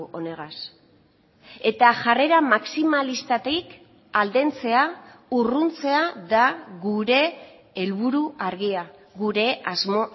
honegaz eta jarrera maximalistatik aldentzea urruntzea da gure helburu argia gure asmo